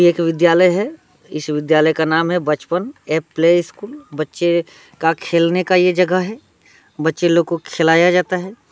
यह एक विद्यालय है इस विद्यालय का नाम है बचपन ये प्ले स्कूल बच्चे का खेलना का ये जगह है बच्चे लोगो को खिलाया जाता है।